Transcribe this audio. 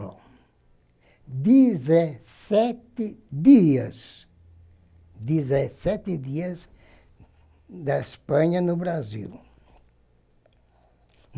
Bom, dezessete dias, dezessete dias da Espanha no Brasil.